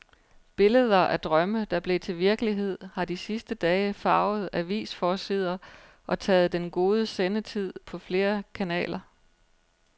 Billeder af drømme, der blev til virkelighed, har de sidste dage farvet avisforsider og taget den gode sendetid på flere kanaler.